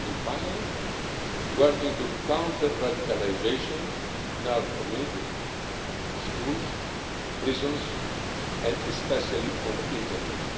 And finally, working to counter radicalisation in our communities, schools, prisons, and especially on the internet.